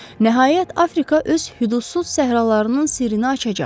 Nəhayət Afrika öz hüdudsuz səhralarının sirrini açacaq.